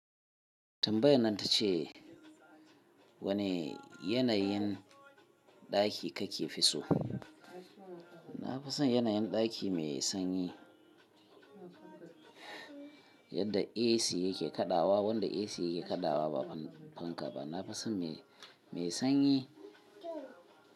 Tambayan nan ta ce wani yanayin ɗaki kake fi so? Na fi son yanayin ɗaki mai sanyi. Yadda AC yake kaɗawa, wanda AC yake kaɗawa ba fanka ba. Na fi son mai, mai sanyi.